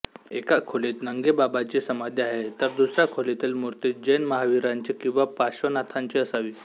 एका खोलीत नंगेबाबांची समाधी आहे तर दुसऱ्या खोलीतील मूर्ती जैन महावीरांची किंवा पाश्र्वनाथांची असावी